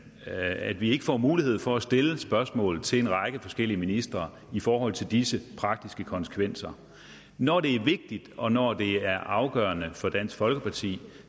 at vi ikke får mulighed for at stille spørgsmål til en række forskellige ministre i forhold til disse praktiske konsekvenser når det er vigtigt og når det er afgørende for dansk folkeparti